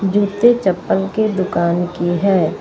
जूते चप्पल की दुकान की है।